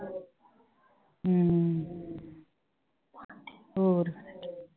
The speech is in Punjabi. ਹਮ ਹੋਰ